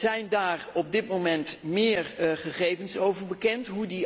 Zijn daar op dit moment meer gegevens over bekend?